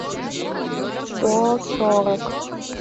сто сорок